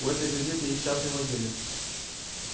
у этой газеты есть частный владелец